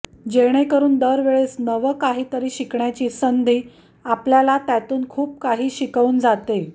जेणेकरुन दर वेळेस नव काहीतरी शिकण्याची संधी आपल्याला त्यातून खूप काही शिकवून जाते